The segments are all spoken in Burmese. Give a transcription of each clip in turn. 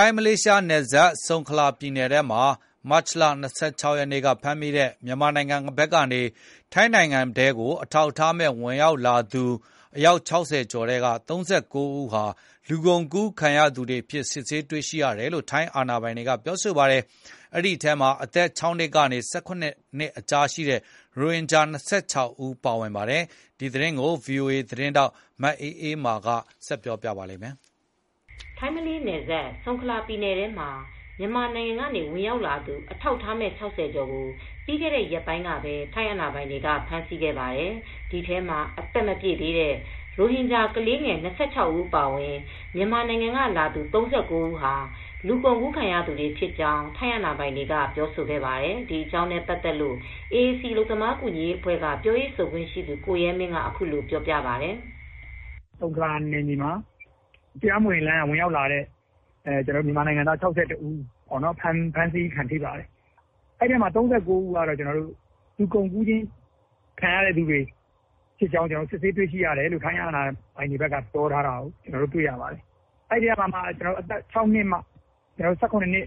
ိုင်း မလေးရှားနယ်စပ် ဆုံခလာပြည်နယ်ထဲမှာ မတ်လ၂၆ရက်နေ့က ဖမ်းမိတဲ့ မြန်မာနိုင်ငံကနေ ဝင်ရောက်လာသူ အထောက်အထားမဲ့ ၆၀ကျော်ထဲက ၃၉ဦးဟာ လူကုန်ကူးခံရသူတွေအဖြစ် စစ်ဆေးတွေရှိတယ်လို့ ထိုင်းအာဏာပိုင်တွေကဆိုပါတယ်။ ဒီထဲမှာအသက် ၆ နှစ်ကနေ ၁၇နှစ်ကြား ရိုဟင်ဂျာ ၂၆ဦးပါဝင်ပါတယ်။ ဒီသတင်းကီု ဗွီအိုအေ သတင်းထောက်မအေးအေမာ က သတင်းပေးပို့ထားပါတယ်။ ထိုင်း မလေးရှား နယ်စပ် ဆုံခလာပြည်နယ်ထဲမှာ မြန်မာနိုင်ငံကနေဝင်ရောက်လာသူ အထောက်အထားမဲ့ ၆၀ကျော်ကို ပြီးခဲတဲ့ ရက်ပိုင်းကပဲ ထိုင်းအာဏာပိုင်တွေကဖမ်ဆီးခဲ့ပါတယ်။ ဒီထဲမှာ အသက်မပြည့်သေးတဲ့ ရိုဟင်ဂျာကလေးငယ် ၂၆ဦးအပါအဝင် မြန်မာနိုင်ငံက လာသူ ၃၉ဦးဟာ လူကုန်ကူးခံရသူတွေဖြစ်ကြောင်း ထိုင်းအာဏာပိုင်တွေက ပြောဆိုခဲ့ပါတယ်။ ဒီအကြောင်းနဲ့ပတ်သက်လို AAC အလုပ်သမားကူညီရေးအဖွဲက ပြောရေးဆိုခွင့်ရှိသူကိုရဲမင်း က အခုလိုပြောပါတယ်။ "ဆုံခလာနယ်မြေမှာ မြန်မာနိုင်ငံသား ၆၁ဦးဖမ်းဆီးခံရပါတယ်။ အဲဒီထဲက ၃၉ဦးကတော့ လူကုန်ကူးခံရတဲ့ အကြောင်းစစ်ဆေးတွေ့ရှိတယ်လို့ ထိုင်းအာဏာပိုင်တွေကပြောထားပါတယ်။ အဲဒီကမှ အသက်၆နှစ်ကနေ့ ၁၇နှစ်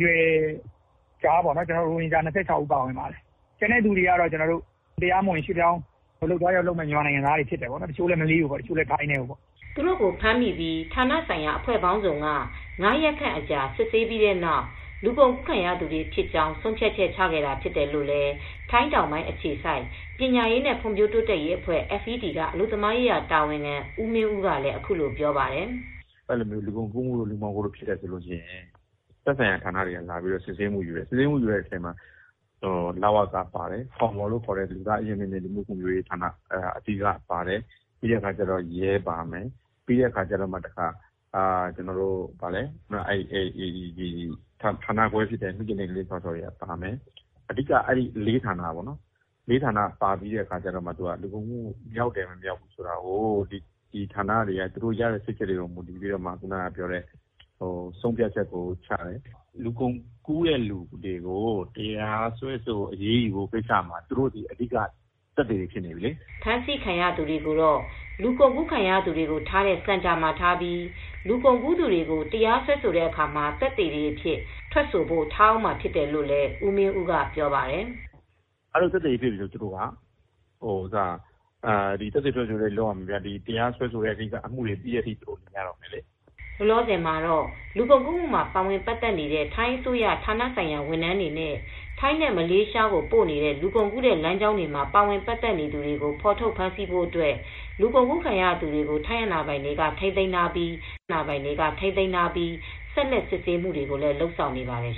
ကြားရိုဟင်ဂျာ ၂၆ဦးပါတယ်။ ကျန်တာကတော့ အလုပ်သွားလုပ်ကြမယ့် တရားမဝင် ရွှေပြောင်းမြန်မာနိုင်ငံသားတွေပါတယ်။ တချိုကတော့ ထိုင်းထဲကို တချို့လည်း မလေးရှားကိုပေါ့ " သူတို့ကို ဖမ်းမိပြီး ဌာနဆိုင်ရာအဖွဲ့ပေါင်းစုံက ၅ရက်ခန့် အကြာစစ်ဆေးပြီးတဲ့နောက် လူကုန်ကူးခံရသူတွေဖြစ်ကြောင်း ဆုံးဖြတ်ချက်ချခဲ့တာဖြစ်တယ်လို့လည်း ထိုင်းတောင်ပိုင်း အခြေစိုက် ပညာရေးနဲ့ ဖွံဖြိုးတိုးတက်ရေးအဖွဲ FED က အလုပ်သမားရေးရာတာဝန်ခံဦးမင်းဦးလည်းပြောပါတယ်။ " လူကုန်ကူးတို့ လူမှောင်ခိုတို့ ဖြစ်ပြီဆိုရင် သက်ဆိုင်ရာဌာနတွေက လာပြီးစစ်ဆေးမူ့ယူတယ်။ စစ်ဆေးမူယူတဲ့အချိန်မှာ လဝက ပါတယ်။ ဖောမောလို့ ခေါ်တဲ့ လူသားအရင်းအမြစ်နဲ့ လူမူ့ဖွံဖြိုးရေးဌာန၊ ပြီးတော့ရဲပါမယ်။ ပြီးတော့ ဌာနခွဲဖြစ်တဲ့ မိခင်နဲ့ကလေးစောင့်ရှောက်ရေးဌာနပါမယ်။ အဲဒီက ၄ ဌာနပါပြီးတော့မှ လူကုန်ကူးမူ့မြောက်တယ်မမြောက်ဘူးဆိုတာကိုတော့ အဲဒီဌာနတွေက သူတို့ရဲ့စစ်ဆေးချက်ကိုရယူပြီးမှ ဆုံဖြတ်ချက်ကိုချတယ် " ဖမ်းဆီးခံရသူတွေကိုတော့ လူကုန်ကူခံရသူတွေကို ထားတဲ့စင်တာမှာထားပြီး လူကုန်ကူးသူတွေကို တရားစွဲဆိုတဲ့အခါမှာ သက်သေတွေအဖြစ် ထွက်ဆိုဖို့ ထားအုန်းမှာဖြစ်တယ်လို့လည်း ဦးမင်းဦးကပြောပါတယ်။ " လူကုန်ကူးတဲ့သူတွေကို တရားစွဲဆိုအရေးယူတဲ့ကိစ္စမှာ သူတို့ကသက်သေတွေဖြစ်နေပြီလေ။ သက်သေထွက်ဆိုချက်တွေလုပ်ရတော့မယ် ။ တရာစွဲဆိုပြီးတဲ့ကိစ္စ အမူတွေပြီးတဲ့အထိ သူတို့နေရတော့မယ်" လောလောဆယ်မှာတော့ လူကုန်ကူးမူ့မှ ာပါဝင်ပတ်သက်နေတဲ့ ထိုင်းအစိုးရ ဌာနဆိုင်ရာဝန်ထမ်းတွေနဲ့ ထိုင်းနဲ့မလေးရှားကိုပို့နေတဲ့လူကုန်ကူးတဲ့လမ်းကြောင်းမှာ ပါဝင်ပတ်သက်နေသူတွေကို ဖော်ထုတ်ဖမ်းဆီးဖို့အတွက် လူကုန်ကူးခံရသူတွေကို ထိုင်းအာဏာပိုင်တွေကထိမ်းသိမ်းထားပြီး ဆက်လက်စစ်ဆေးမူတွေကို လုပ်ဆောင်နေပါတယ်